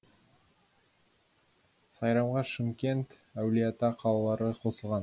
сайрамға шымкент әулиеата қалалары қосылған